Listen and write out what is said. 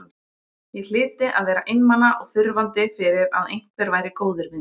Ég hlyti að vera einmana og þurfandi fyrir að einhver væri góður við mig.